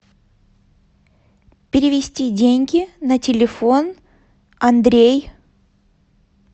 перевести деньги на телефон андрей